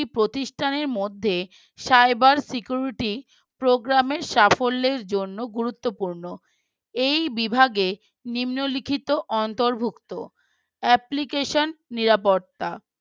প্রতিষ্ঠানের মধ্যে Cyber Security Programme র সাফল্যের জন্য গুরুত্বপূর্ণ এই বিভাগে নিম্নলিখিত অন্তর্ভুক্ত application নিরাপত্তা